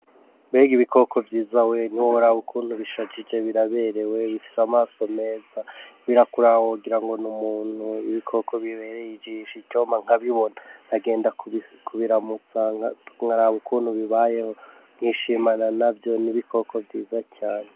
Mbega ibikoko vyiza we ni bo brabukuntu bishajije biraberewe bifise amaso meza birakurawogira ngo ni umuntu ibikoko bibereye ijisha icoma nkabibona nagenda kubiramutsanka unkarabukuntu bibayeho nkwishimana na vyo n'ibikoko vyiza cane.